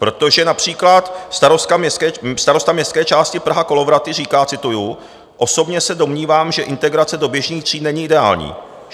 Protože například starosta městské části Praha - Kolovraty říká, cituji: "Osobně se domnívám, že integrace do běžných tříd není ideální.